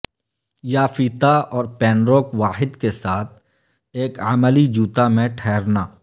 یا فیتا اور پنروک واحد کے ساتھ ایک عملی جوتا میں ٹھہرنا